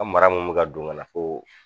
An mara mun bɛ ka don ka na fo